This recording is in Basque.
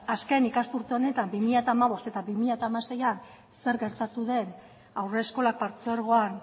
azken ikasturte honetan bi mila hamabost barra bi mila hamasei zer gertatu den haurreskolak partzuergoan